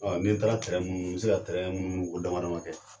Ɔn n'i taara munumunu bɛ se ka munumunu ko dama dama kɛ.